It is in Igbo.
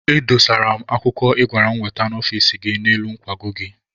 Edosara m akwụkwọ ị gwara m wete n'ọfici gị n'elu nkwago gị.